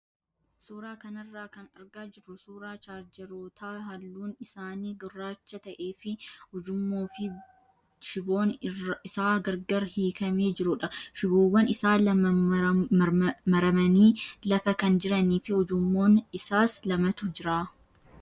Suuraa kanarraa kan argaa jirru suuraa chaarjaroota halluun isaanii gurraacha ta'ee fi ujummoo fi shiboon isaa gargar hiikamee jirudha. Shiboowwan isaa lama maramanii lafa kan jiranii fi ujummoon isaas lamatu jira.